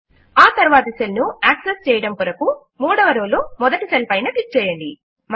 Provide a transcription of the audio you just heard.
ఆ తరువాతి సెల్ ను యాక్సెస్ చేయడము కొరకు మూడవ రో లో మొదటి సెల్ పైన క్లిక్ చేయండి